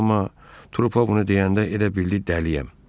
Trupa bunu deyəndə elə bildi dəliyəm.